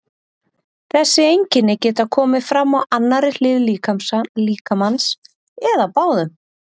þessi einkenni geta komið fram á annarri hlið líkamans eða báðum